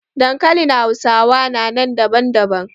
Dankalin hausawa na nan daban daban.